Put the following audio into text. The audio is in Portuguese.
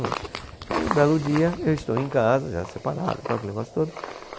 Aí um belo dia, eu estou em casa, já separado e tal, aquele negócio todo.